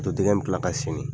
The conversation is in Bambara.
Poto dingɛ bɛ kila ka sennen